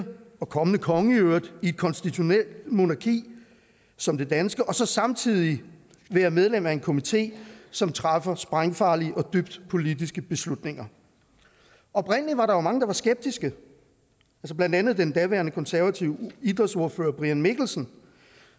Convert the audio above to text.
og kommende konge i øvrigt i et konstitutionelt monarki som det danske og så samtidig være medlem af en komité som træffer sprængfarlige og dybt politiske beslutninger oprindelig var der jo mange der var skeptiske blandt andet den daværende konservative idrætsordfører brian mikkelsen